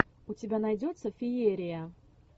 у тебя найдется феерия